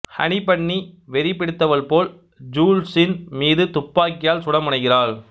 Honey Bunny வெறி பிடித்தவள் போல் ஜூல்ஸின் மீது துப்பாக்கியால் சுட முனைகிறாள்